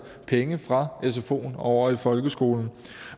penge fra sfoen og over i folkeskolen